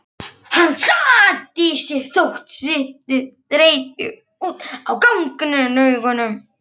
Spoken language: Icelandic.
Hann sat á sér þótt sviti sprytti út á gagnaugunum.